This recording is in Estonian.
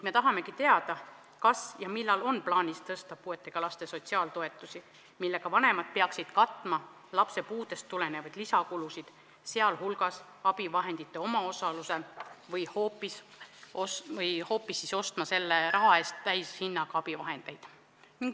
Me tahamegi teada, kas ja millal on plaanis tõsta puudega laste sotsiaaltoetusi, millega vanemad peaksid katma lapse puudest tulenevaid lisakulutusi, sh abivahendite omaosalust, või hoopis ostma selle raha eest täishinnaga abivahendeid.